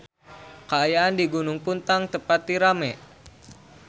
Kaayaan di Gunung Puntang teu pati rame